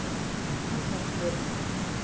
Kjartansgötu